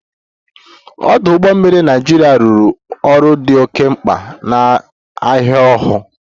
Ọdụ ụgbọ mmiri Naịjirịa rụrụ ọrụ dị oke mkpa na ahia ohu